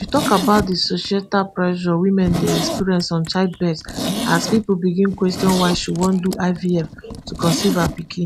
she tok about di societal pressure women dey experience on childbirth as pipo begin question why she wan do ivf to conceive her pikin